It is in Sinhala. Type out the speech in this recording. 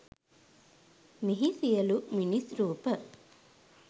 මෙහි සියලු මිනිස් රූප